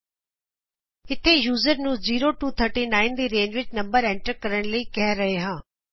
ਇਥੇ ਅਸੀਂ ਯੂਜ਼ਰਸ ਨੂੰ 0 ਤੋਂ 39 ਦੀ ਰੇਂਜ ਵਿਚ ਨੰਬਰ ਐਂਟਰ ਕਰਨ ਲਈ ਕਹਿ ਰਹੇ ਹਾਂ